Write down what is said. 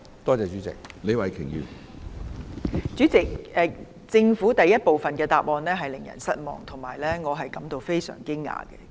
主席，政府的主體答覆第一部分令人失望，也令我感到非常驚訝。